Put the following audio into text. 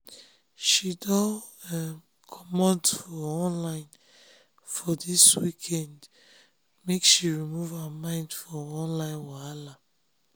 she don um comot for um online for dis weekend make she remove um her mind for online wahala